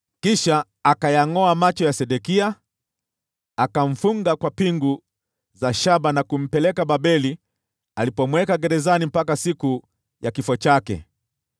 Kisha akayangʼoa macho ya Sedekia, akamfunga kwa pingu za shaba na kumpeleka Babeli, alipomweka gerezani mpaka siku ya kifo chake.